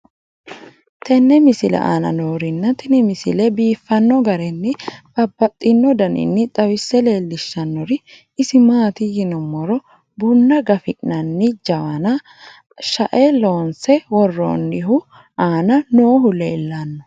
tenne misile aana noorina tini misile biiffanno garinni babaxxinno daniinni xawisse leelishanori isi maati yinummoro bunna gafi'nanni jawanni shae loonse woroonnihu aanna noohu leelanno